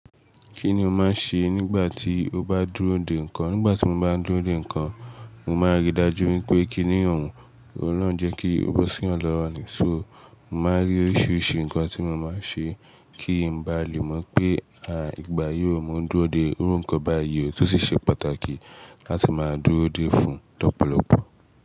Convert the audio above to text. Kí ni o máa ń ṣe nígbà tí o bá dúró de nǹkan? Nígbà tí mo bá ń dúró de nǹkan, mo máa ń rí i dájú wípé kíni òun, ọlọ́rùn jẹ́ kí ó bọ́ siyan lọ́wọ́ ni. So, mo máa ń rí oríṣiríṣi nǹkan tí mo máa ń ṣe kí ń bá lè mọ̀ pé, àí, ìgbà yóò mo ndúró de irú nǹkan báyìí ó, ti o sì ṣe pàtàkì láti máa dúró dé fún lọ́pọ̀lọpọ̀.